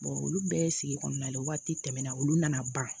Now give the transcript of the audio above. olu bɛɛ ye sigi kɔnɔna la waati tɛmɛna olu nana ban